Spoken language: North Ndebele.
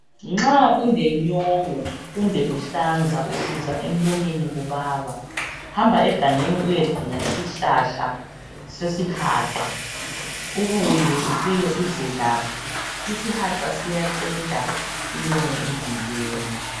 Nxa ulenyongo kumbe uhlanza usizwa emlonyeni kubaba hamba egangeni uyedinga isihlahla sesihaqa ubuye ufike uzelaphe isihaqa siyaqeda inyongo emzimbeni.